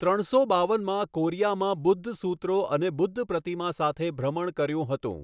ત્રણસો બાવનમાં કોરિયામાં બુદ્ધ સૂત્રો અને બુદ્ધ પ્રતિમા સાથે ભ્રમણ કર્યું હતું.